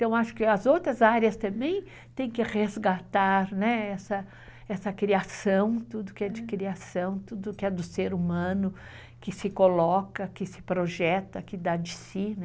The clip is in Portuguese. Então, acho que as outras áreas também têm que resgatar né? Essa criação, tudo que é de criação, tudo que é do ser humano, que se coloca, que se projeta, que dá de si, né?